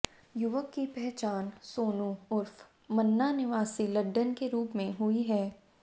युवक की पहचान सोनू उर्फ मन्ना निवासी लड्डन के रूप में हुई है